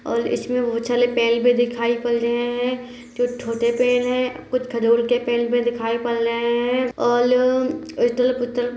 औल इछमे बहुत थाले पेल दिखाई पल लहे हैं कुछ छोटे पेड़ हैं कुछ खजूर के पेड़ भी दिखाई पड़ रहे हैं ऑल इतलफ उटलफ --